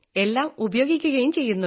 എല്ലാം ഉപയോഗിക്കുകയും ചെയ്യുന്നു